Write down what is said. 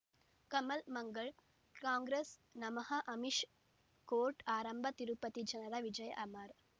ಕಮಲ್ ಮಂಗಳ್ ಕಾಂಗ್ರೆಸ್ ನಮಃ ಅಮಿಷ್ ಕೋರ್ಟ್ ಆರಂಭ ತಿರುಪತಿ ಜನರ ವಿಜಯ ಅಮರ್